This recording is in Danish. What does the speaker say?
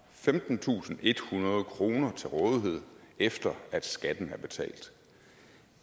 femtentusinde og ethundrede kroner til rådighed efter at skatten er betalt